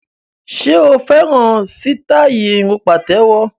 Ṣe o fẹ́ràn sítáì irun pàtéwọ́?